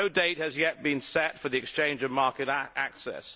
No date has yet been set for the exchange of market access.